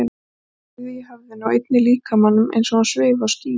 Bæði í höfðinu og einnig líkamanum, eins og hún svifi á skýi.